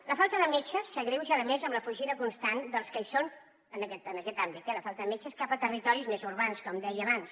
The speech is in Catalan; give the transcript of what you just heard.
la falta de metge s’agreuja a més amb la fugida constant dels que hi són en aquest àmbit eh la falta de metges cap a territoris més urbans com deia abans